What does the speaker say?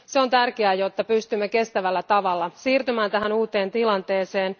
Se on tärkeää, jotta pystymme kestävällä tavalla siirtymään tähän uuteen tilanteeseen.